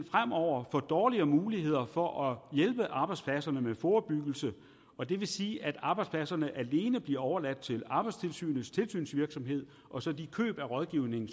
fremover få dårligere muligheder for at hjælpe arbejdspladserne med forebyggelse og det vil sige at arbejdspladserne alene bliver overladt til arbejdstilsynets tilsynsvirksomhed og så de køb af rådgivning